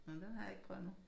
Nå den har jeg ikke prøvet endnu